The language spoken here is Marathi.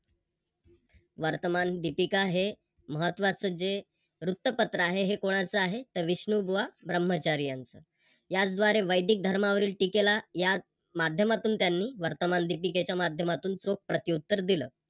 वर्तमान दिपिका हे महत्त्वाच जे वृत्तपत्र आहे हे कोणाच आहे तर विष्णुबुवा ब्रह्मचारी यांच. याचद्वारे वैदिक धर्मावरील टीकेला या माध्यमातून त्यांनी वर्तमान दीपिकेच्या माध्यमातून चोख प्रतिउत्तर दिल.